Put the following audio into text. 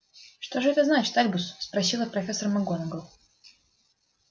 что же это значит альбус спросила профессор макгонагалл